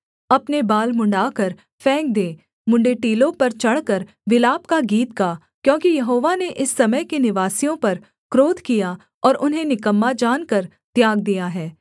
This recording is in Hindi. अपने बाल मुँण्ड़ाकर फेंक दे मुँण्ड़े टीलों पर चढ़कर विलाप का गीत गा क्योंकि यहोवा ने इस समय के निवासियों पर क्रोध किया और उन्हें निकम्मा जानकर त्याग दिया है